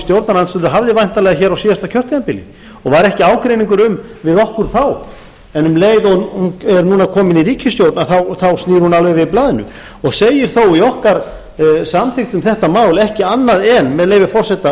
stjórnarandstöðu hafði væntanlega hér á síðasta kjörtímabili og var ekki ágreiningur um við okkur þá en um leið og hún er núna komin í ríkisstjórn að þá snýr hún alveg við blaðinu og segir þó í okkar samþykkt um þetta mál ekki annað en með leyfi forseta